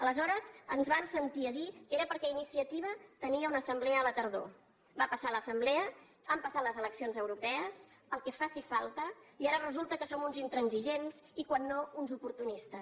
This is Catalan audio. aleshores ens vam sentir a dir que era perquè iniciativa tenia una assemblea a la tardor va passar l’assemblea han passat les eleccions europees el que faci falta i ara resulta que som uns intransigents i si no uns oportunistes